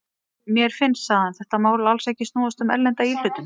Mér finnst, sagði hann, þetta mál alls ekki snúast um erlenda íhlutun.